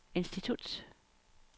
institut